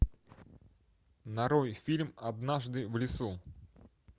нарой фильм однажды в лесу